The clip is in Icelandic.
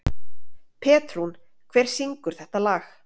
Petrún, hver syngur þetta lag?